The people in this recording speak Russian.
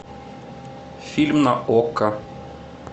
фильм на окко